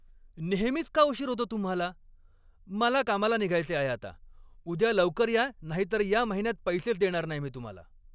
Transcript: नेहमीच का उशीर होतो तुम्हाला? मला कामाला निघायचे आहे आता! उद्या लवकर या नाहीतर या महिन्यात पैसेच देणार नाही मी तुम्हाला.